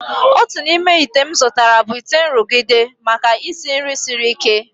Otu n'ime ite m zụtara bụ ite nrụgide, maka isi nri siri ike.